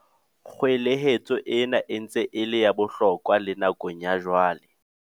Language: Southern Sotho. Kgwelehetso ena e ntse e le ya bohlokwa le nakong ya jwale.